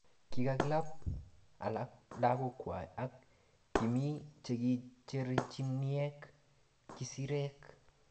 Kikakalab alak lakok kwai, ak kimii chekicherchinieki kisirek